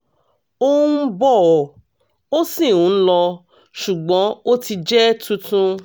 ó ń bọ̀ ó sì ń lọ ṣùgbọ́n ó ti jẹ́ tuntun